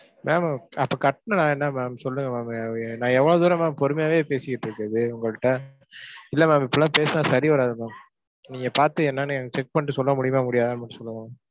ma'am அப்பக் கட்டின நான் என்ன ma'am சொல்லுங்க ma'am, நான் எவ்ளோ தூரம் ma'am பொறுமையாவே பேசிட்டு இருக்குறது உங்கள்ட்ட. இல்ல ma'am இப்படி எல்லாம் பேசினா சரி வராது ma'am. நீங்கப் பார்த்து என்னன்னு எனக்கு check பண்ணிட்டு சொல்ல முடியுமா முடியாதான்னு மட்டும் சொல்லுங்க ma'am.